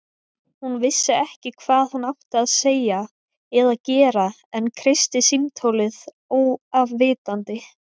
Hún vissi ekki hvað hún átti að segja eða gera en kreisti símtólið óafvitandi.